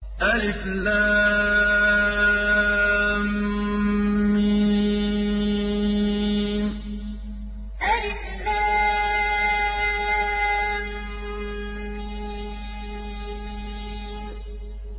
الم الم